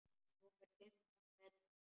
Rúmir fimmtán metrar.